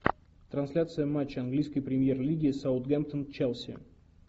трансляция матча английской премьер лиги саутгемптон челси